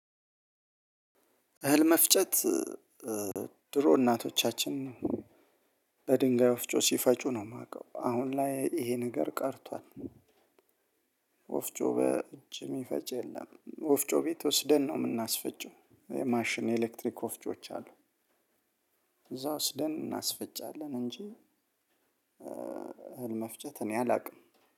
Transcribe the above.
እህል መፍጨት ድሮ እናቶቻችን በድንጋይ ወፍጮ ሲፈጩ ነው የማውቀው አሁን ላይ ይሄ ነገር ቀርቷል። ወፍጮ በእጅ የሚፈጭ የለም ወፍጮ ቤት ወስደን ነው የምናስፈጭው የማሽን ኤሌክትሪክ ወፍጮዎች አሉ። እዛ ወስደን እናስፈጫለን እንጂ እህል መፍጨት እኔ አላውቅም።